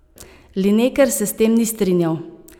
Lineker se s tem ni strinjal.